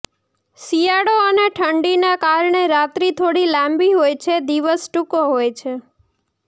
શિયાળો અને ઠંડીના કારણે રાત્રી થોડી લાંબી હોય છે દિવસ ટુંકો હોય છે